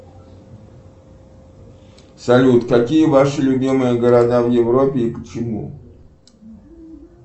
салют какие ваши любимые города в европе и почему